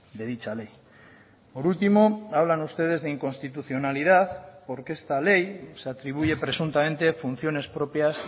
de dicha ley por último hablan ustedes de inconstitucionalidad porque esta ley se atribuye presuntamente funciones propias